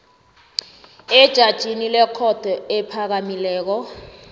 ejajini lekhotho ephakamileko